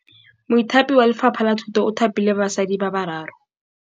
Mothapi wa Lefapha la Thutô o thapile basadi ba ba raro.